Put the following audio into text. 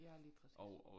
Ja lige præcis